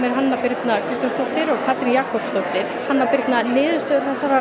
Hanna Birna Kristjánsdóttir og Katrín Jakobsdóttir hanna Birna niðurstöður þessarar